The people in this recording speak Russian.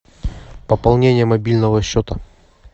пополнение мобильного счета